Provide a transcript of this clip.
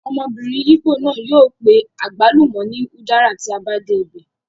Ọmọbìnrin ìgbò náà yóò pe àgbálùmọ̀ ní udara tí a bá dé ibẹ̀